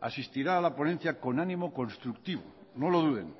asistirá a la ponencia con ánimo constructivo no lo duden